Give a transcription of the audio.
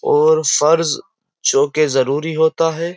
और फर्ज जो के जरूरी होता है।